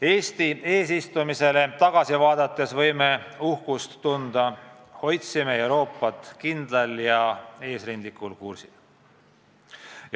Eesti eesistumisele tagasi vaadates võime uhkust tunda: me hoidsime Euroopat kindlal ja eesrindlikul kursil.